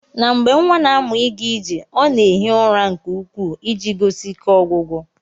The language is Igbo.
Na mgbe nwa na amụ iga ije ọna eghi ụra nke ukwu iji gosi ike ogwugwu.